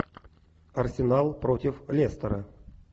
арсенал против лестера